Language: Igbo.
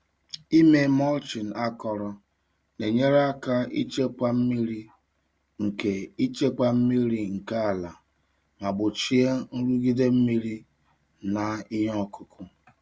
Ịme mulching akọrọ na-enyere aka ichekwa mmiri nke ichekwa mmiri nke ala ma gbochie nrụgide mmiri na ihe ọkụkụ.